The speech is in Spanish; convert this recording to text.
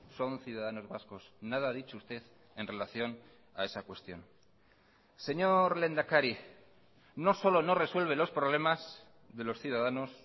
son ciudadanos vascos nada ha dicho usted en relación a esa cuestión señor lehendakari no solo no resuelve los problemas de los ciudadanos